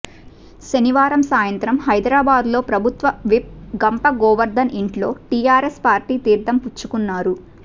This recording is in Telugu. శనివారం సాయంత్రం హైదరాబాద్లో ప్రభుత్వ విప్ గంప గోవర్దన్ ఇంట్లో టిఆర్ఎస్ పార్టీ తీర్థం పుచ్చుకున్నారు